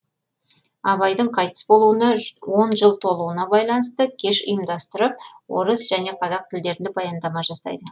абайдың қайтыс болуына он жыл толуына байланысты кеш ұйымдастырып орыс және қазақ тілдерінде баяндама жасайды